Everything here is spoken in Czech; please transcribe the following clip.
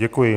Děkuji.